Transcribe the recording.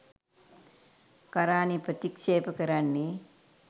කරානය ප්‍රතික්ෂේප කරන්නේ.